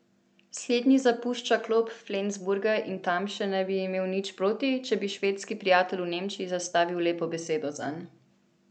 Slednji zapušča klop Flensburga in Tamše ne bi imel nič proti, če bi švedski prijatelj v Nemčiji zastavil lepo besedo zanj ...